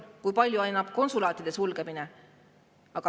Kui palju annab konsulaatide sulgemine?